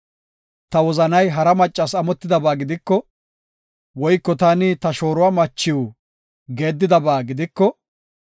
“Ta wozanay hara maccas amotidaba gidiko, woyko taani ta shooruwa machiw geeddidaba gidiko,